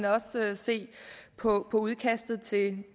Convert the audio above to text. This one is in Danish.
også se på udkastet til